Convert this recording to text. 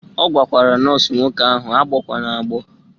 Ọ gwara nọọsụ nwoke ahụ agbọkwana agbọ!